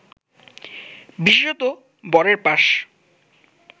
বিশেষতঃ বরের পাশ